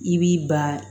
I b'i ban